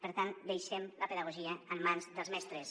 per tant deixem la pedagogia en mans dels mestres